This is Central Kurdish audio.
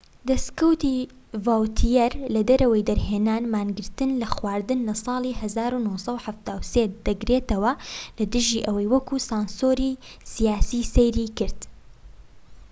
دەسکەوتی ڤاوتیەر لە دەرەوەی دەرهێنان مانگرتن لە خواردن لە ساڵی 1973 دەگرێتەوە لە دژی ئەوەی وەک سانسۆری سیاسی سەیری کرد